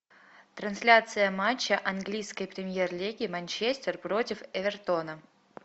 трансляция матча английской премьер лиги манчестер против эвертона